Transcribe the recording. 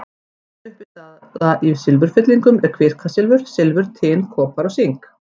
Meginuppistaða í silfurfyllingum er kvikasilfur, silfur, tin, kopar og sink.